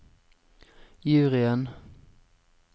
juryen